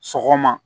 Sɔgɔma